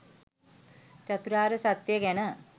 චතුරාර්ය සත්‍යය ගැන